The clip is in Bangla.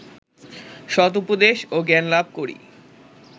সদুপদেশ ও জ্ঞানলাভ করি